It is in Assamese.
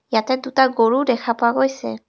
ইয়াতে দুটা গৰু ও দেখা পোৱা গৈছে.